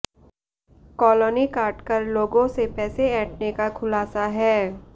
colony काटकर लोगों से पैसे ऐंठने का खुलासा ह